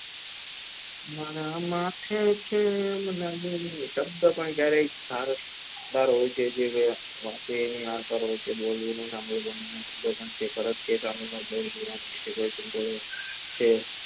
મારા માથે છે આમાંના ગોરી દબદબો ક્યારેય ભારત બહાર બોલું ના